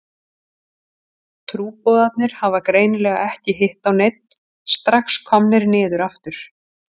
Trúboðarnir hafa greinilega ekki hitt á neinn, strax komnir niður aftur.